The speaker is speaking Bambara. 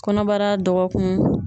Kɔnɔbara dɔgɔkun